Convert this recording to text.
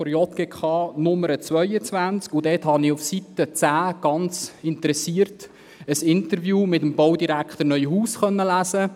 Ich konnte darin auf Seite 10 ganz interessiert ein Interview mit Baudirektor Neuhaus lesen.